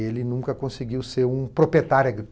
Ele nunca conseguiu ser um proprietário agrícola.